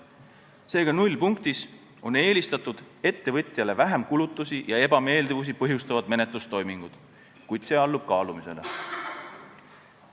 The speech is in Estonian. Seega, nullpunktis on eelistatud ettevõtjale vähem kulutusi ja ebameeldivusi põhjustavad menetlustoimingud, kuid see allub kaalumisele.